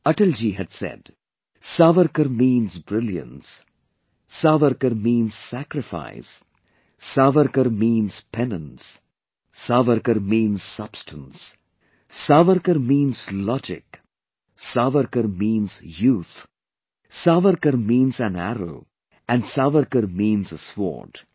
Atal ji had said Savarkar means brilliance, Savarkar means sacrifice, Savarkar means penance, Savarkar means substance, Savarkar means logic, Savarkar means youth, Savarkar means an arrow, and Savarkar means a Sword